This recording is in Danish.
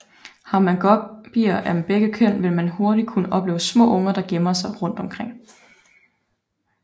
Har man guppyer af begge køn vil man hurtigt kunne opleve små unger der gemmer sig rundt omkring